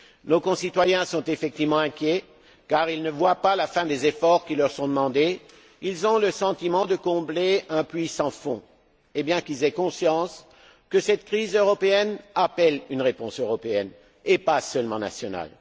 Nos concitoyens sont effectivement inquiets, car ils ne voient pas la fin des efforts qui leur sont demandés. Ils ont le sentiment de combler un puits sans fond, bien qu'ils aient conscience que cette crise européenne appelle une réponse européenne et pas seulement nationale.